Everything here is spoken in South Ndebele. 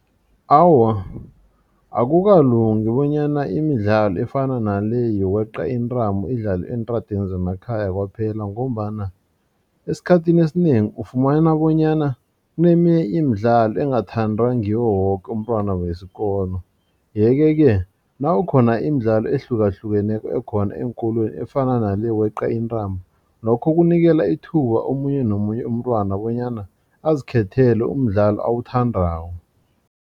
Awa, akukalungi bonyana imidlalo efana nale yokweqa intambo idlalwa eentradeni zemakhaya kwaphela ngombana esikhathini esinengi ufumana bonyana kuneminye imidlalo engathandwa ngiwo woke umntwana wesikolo yeke ke nawukhona imidlalo ehlukahlukeneko ekhona eenkolweni efana nale yokweqa intambo lokho kunikela ithuba omunye nomunye umntwana bonyana azikhethele umdlalo awuthandako.